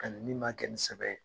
Ani min ma kɛ ni kosɛbɛ ye